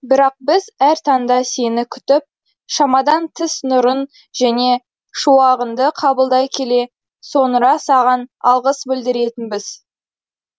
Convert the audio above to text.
бірақ біз әр таңда сені күтіп шамадан тыс нұрың мен шуағыңды қабылдай келе соңыра саған алғыс білдіретінбіз